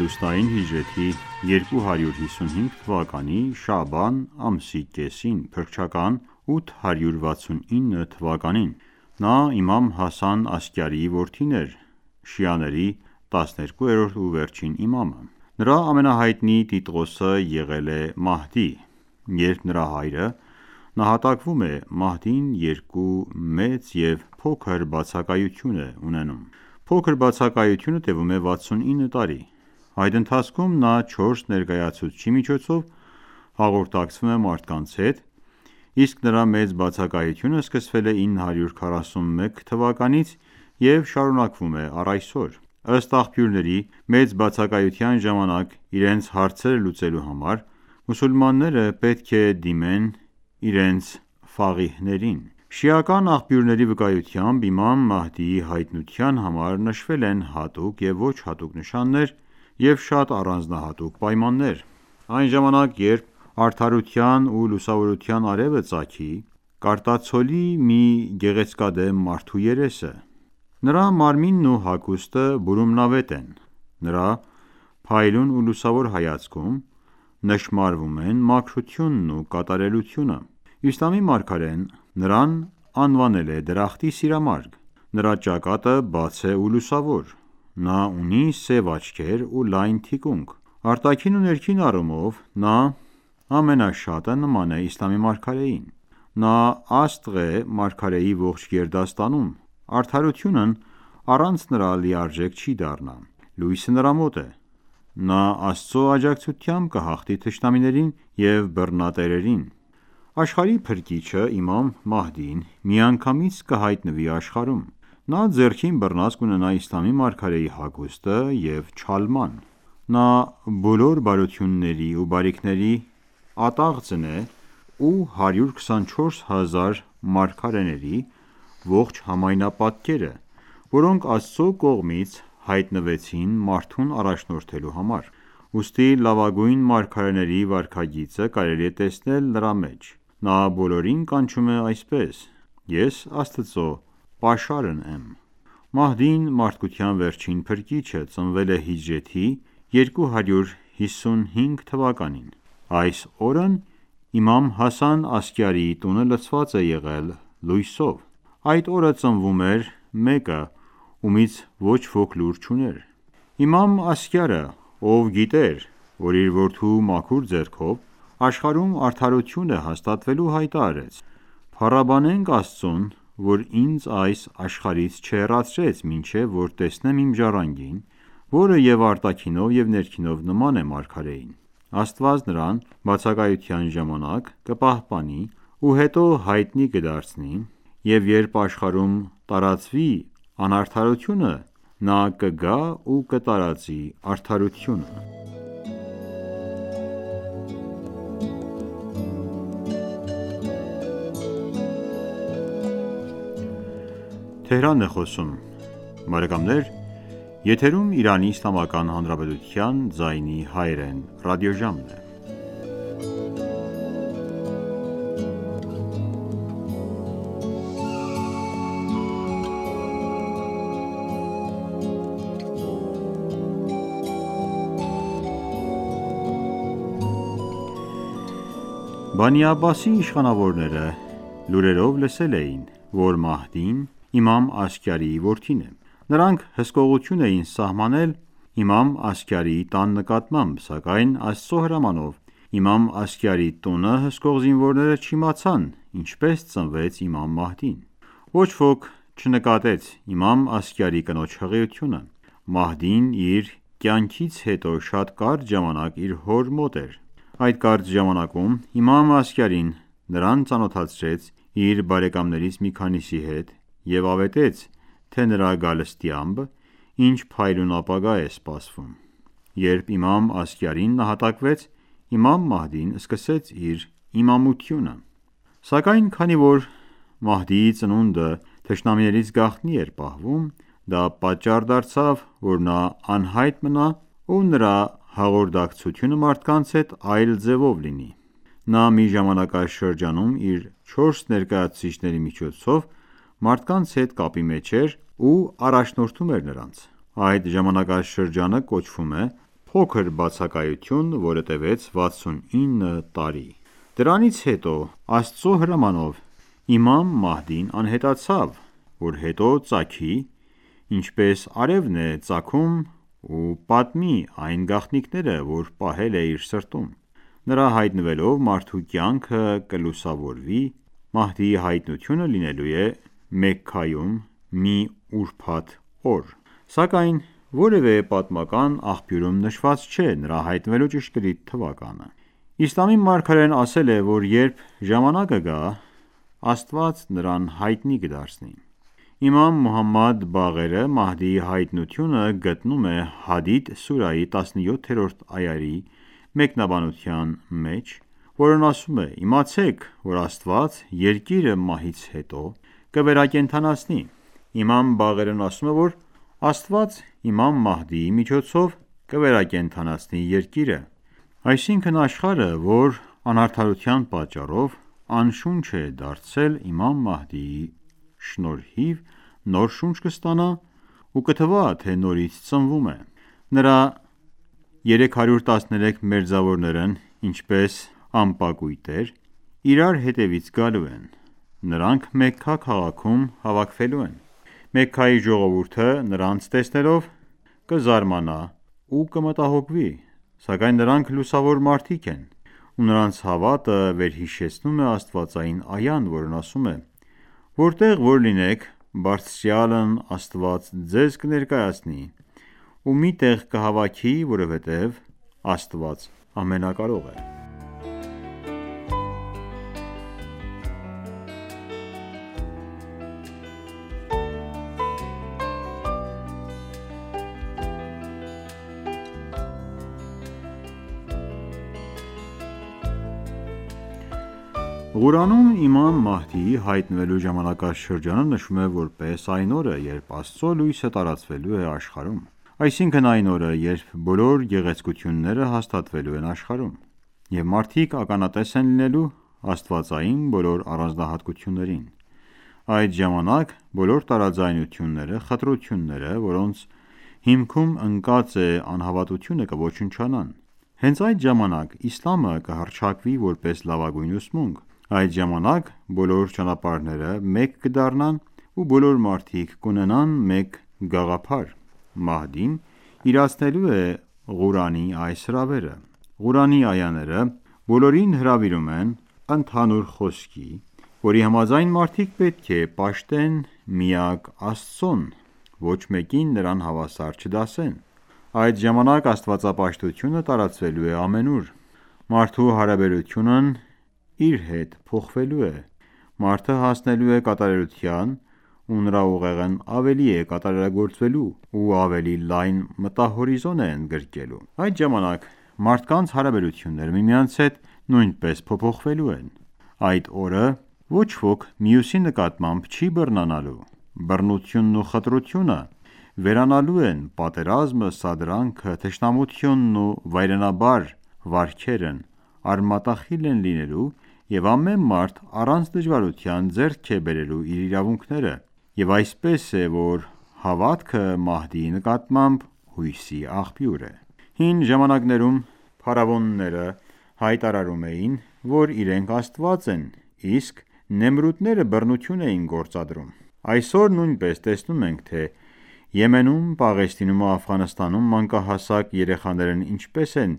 լուսնային հիջրեթի 255թ․ շաաբան ամսի կեսին(փրկչական 869 թ․): Նա իմամ Հասան Ասկյարիի որդին էր և շիաների 12-րդ ու վերջին իմամը: Նրա ամենահայտնի տիտղոսը եղել է Մահդի: Երբ նրա հայրը նահատակվում է, Մահդին երկու՝ մեծ և փոքր բացակայություն է ունենում: Փոքր բացակայությունը տևում է 69 տարի:Այդ ընթացքում նա չորս ներկայացուցչի միջոցով հաղորդակցվում է մարդկանց հետ: Իսկ նրա մեծ բացակայությունը սկսվել է 941 թ․ և շարունակվում է առ այսօր: Ըստ աղբյուրների, մեծ բացակայության ժամանակ, իրենց հարցերը լուծելու համար, մուսուլմանները պետք է դիմեն իրենց ֆաղիհներին: Շիական աղբյուրների վկայույթամբ, իմամ Մահդիի հայտնության համար նշվել են հատուկ և ոչ հատուկ նշաններ և շատ առանձնահատուկ պայմաններ: Այն ժամանակ, երբ արդարության ու լուսավորության արևը ծագի, կարտացոլի մի գեղեցկադեմ մարդու երեսը: Նրա մարմինն ու հագուստը բուրումնավետ են: Նրա փայլուն ու լուսավոր հայացքում նշմարվում են մարքրությունն ու կատարելությունը: Իսլամի մարգարեն նրան անվանել է «դրախտի սիրամարգ»: Նրա ճակատը բաց է ու լուսավոր: Նա ունի սև աչքեր ու լայն թիկունք: Արտաքին ու ներքին առումով, նա ամենաշատը նման է իսլամի մարգարեին: Նա աստղ է մարգարեի ողջ գերդաստանում: Արդարությունն առանց նրա լիարժեք չի դառնա: Լույսը նրա մոտ է: նա Աստծու աջակցությամբ կհաղթի թշնամիներին ու բռնատերերին: Աշխարհի փրկիչը՝ իմամ Մահդին, միանգամից կհայտնվի աշխարհում: Նա ձեռքին բռնած կունենա իսլամի մարգարեի հագուստը և չալման: Նա բոլոր բարությունների ու բարիքների ատաղձն է ու 124 հազար մարգարեների ողջ համայնապատկերը, որոնք Աստծու կողմից հայտնվեցին մարդուն առաջնորդելու համար: Ուստի լավագույն մարգարեների վարքագիծը կարելի է տեսնել նրա մեջ: Նա բոլորին կանչում է այսպես. «Ես Աստծու պաշարն եմ»: Մահդին, մարդկության վերջին փրկիչը, ծնվել է հիջրեթի 255 թ.: Այս օրն իմամ Հասան Ասկյարիի տունը լցված է եղել լույսով: Այդ օրը ծնվում էր մեկը, ումից ոչ ոք լուր չուներ: Իմամ Ասկյարը, ով գիտեր որ իր որդու մաքուր ձեռքով աշխարհում արդարություն է հաստատվելու, հայտարարեց. «Փառաբանենք Աստծուն, որ ինձ այս աշխարհից չհեռացրեց, մինչև որ տեսնեմ իմ ժառանգին, որը և արտաքինով և ներքինով նման է մարգարեին: Աստված նրան բացակայության ժամանակ կպահպանի ու հետո հայտնի կդարձնի: Եվ երբ աշխարհում տարածվի անարդարությունը, նա կգա ու կտարածի արդարությունը»: Բանի Աբբասի իշխանավորները լուրերով լսել էին, որ Մահդին իմամ Ասկյարի որդին է: Նրանք հսկողություն էին սահմանել իմամ Ասկյարի տան նկատմամբ: Սակայն Աստծու հրամանով, իմամ Ասկյարի տունը հսկող զինվորները չիմացան ինչպես ծնվեց իմամ Մահդին: Ոչ ոք չնկատեց իմամ Ակյարիի կնոջ հղիությունը: Մահդին իր կյանքից հետո շատ կարճ ժամանակ իր հոր մոտ էր: Այդ կարճ ժամանակում իմամ Ասկյարին նրան ծանոթացրեց իր բարեկամներից մի քանիսի հետ և ավետեց թե նրա գալստյամբ ինչ փայլուն ապագա է սպասվում: Երբ իմամ Ասկյարին նահատակվեց, իմամ Մահդին սկսեց իր իմամությունը: Սակայն քանի որ Մահդիի ծնունդը թշնամիներից գաղտնի էր պահվում, դա պատճառ դարձավ, որ նա անհայտ մնա ու նրա հաղորդակցությունը մարդկանց հետ այլ ձևով լինի: Նա մի ժամանակաշրջանում իր չորս ներկայացուցիչների միջոցով մարդկանց հետ կապի մեջ էր ու առաջնորդում էր նրանց: Այդ ժամանակաշրջանը կոչվում էր փոքր բացակայություն որը տևեց 69 տարի: Դրանից հետո, Աստծու հրամանով, իմամ Մահդին անհետացավ, որ հետո ծագի, ինչպես արևն է ծագում ու պատմի այն գաղտնիքները, որ պահել է իր սրտում: Նրա հայտնվելով մարդու կյանքը կլուսավորվի: Մահդիի հայտնությունը լինելու է Մեքքայում, մի ուրբաթ օր: Սակայն որևէ պատմական աղբյուրում նշված չէ նրա հայտնվելու ճշգրիտ թվականը: Իսլամի մարգարեն ասել է, որ երբ ժամանակը գա, Աստված նրան հայտնի կդարձնի: Իմամ Մոհամմադ Բաղերը Մահդիի հայտնությունը գտնում է Հադիդ սուրահի 17-րդ այայի մեկնաբանության մեջ, որն ասում է. «Իմացեք, որ Աստված երկիրը մահից հետո կվերկենդանացնի»: Իմամ Բաղերն ասում է, որ Աստված իմամ Մահդիի միջոցով կվերակենդանացնի երկիրը: Այսինքն՝ աշխարհը, որ անարդարության պատճառով անշունչ է դարձել, իմամ Մահդիի շնորհիվ նոր շունչ կստանա, ու կթվա, թե նորից է ծնվում: Նրա 313 մերձավորներն ինչպես ամպակույտեր, իրար հետևից գալու են: Նրանք Մեքքա քաղաքում հավաքվելու են: Մեքքայի ժողովուրդը, նրանց տեսնելով, կզարմանա ու կմտահոգվի: Սակայն նրանք լուսավոր մարդիկ են: Ու նրանց հավաքը վերհիշեցնում է աստվածային այան, որն ասում է. «Որտեղ որ լինեք, Բարձրյալն Աստված ձեզ կներկայացնի ու մի տեղ կհավաքի, որովհետև Աստված ամենակարող է»: Ղուրանում իմամ Մահդիի հայտնվելու ժամանակաշրջանը նշվում է որպես այն օրը, երբ Աստծու լույսը տարածվելու է աշխարհում, այսինքն՝ այն օրը, երբ բոլոր գեղեցկությունները հաստատվելու են աշխարհում: Եվ մարդիկ ականատես են լինելու աստվածային բոլոր առանձնահատկություններին: Այդ ժամանակ, բոլոր տարաձայնությունները, խտրությունները, որոնց հիքում ընկած է անհավատությունը, կոչնչանան: Հենց այդ ժամանակ իսլամը կհռչակվի որպես լավագույն ուսմունք: Այդ ժամանակ բոլոր ճանապարհները մեկ կդառնան ու բոլոր մարդիկ կունենան մեկ գաղափար: Մահդին իրացնելու է Ղուրանի այս հրավերը: Ղուրանի այաները բոլորին հրավիրում են ընդհանուր խոսքի, որի համաձայն մարդիկ պետք է պաշտեն միակ Աստծուն, ոչ մեկին նրան հավասար չդասեն: Այդ ժամանակ աստվածապաշտությունը տարածվելու է ամենուր: Մարդու հարաբերությունն իր հետ փոխվելու է, մարդը հասնելու է կատարելության ու նրա ուղեղն ավելի է կատարելագործվելու ու ավելի լայն մտահորիզոն է ընդգրկելու: Այդ ժամանակ, մարդկանց հարաբերությունները միմյանց հետ նույնպես փոփոխվելու են: Այդ օրը ոչ ոք մյուսի նկատմամբ չի բռնանալու: Բռնությունն ու խտրությունը վերանալու են, պատերազմը, սադրանքը, թշնամությունն ու վայրենաբարո վարքերն արմատախիլ են լինելու և ամեն մարդ, առանց դժվարության, ձեռք է բերելու իր իրավունքները: Եվ այսպես է, որ հավատքը Մահդիի նկատմամբ, հույսի աղբյուր է: Հին ժամանակներում փարավոնները հայտարարում էին, որ իրենք Աստված են, իսկ նեմրուտները բռնություն էին գործադրում: Այսօր նույնպես տեսնում ենք, թե Եմենում, Պաղեստինում ու Աֆղանստանում մանկահասակ երեխաներն ինչպես են